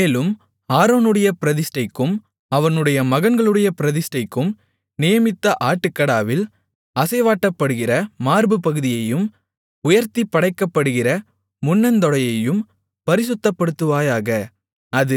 மேலும் ஆரோனுடைய பிரதிஷ்டைக்கும் அவனுடைய மகன்களுடைய பிரதிஷ்டைக்கும் நியமித்த ஆட்டுக்கடாவில் அசைவாட்டப்படுகிற மார்புப்பகுதியையும் உயர்த்திப் படைக்கப்படுகிற முன்னந்தொடையையும் பரிசுத்தப்படுத்துவாயாக